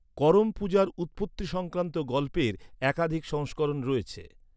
করম পূজার উৎপত্তি সংক্রান্ত গল্পের একাধিক সংস্করণ রয়েছে।